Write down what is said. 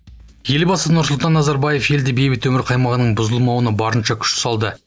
елбасы нұрсұлтан назарбаев елде бейбіт өмір қаймағының бұзылмауына барынша күш салды